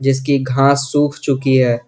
इसकी घास सूख चुकी है।